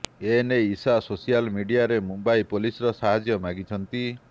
ଏନେଇ ଇଶା ସୋସିଆଲ ମିଡିଆରେ ମୁମ୍ବାଇ ପୋଲିସଙ୍କ ସାହାର୍ଯ୍ୟ ମାଗିଛନ୍ତି